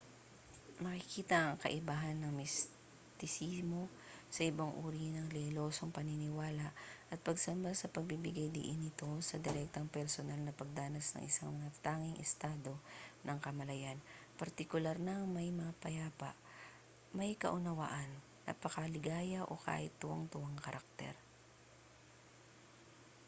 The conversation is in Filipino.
makikita ang kaibahan ng mistisismo sa ibang uri ng relihiyosong paniniwala at pagsamba sa pagbibigay-diin nito sa direktang personal na pagdanas ng isang natatanging estado ng kamalayan partikular na ang may mapayapa may kaunawaan napakaligaya o kahit na tuwang-tuwang karakter